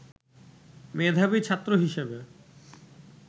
মেধাবী ছাত্র হিসেবে